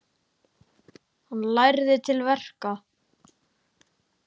Hann lærði til verka.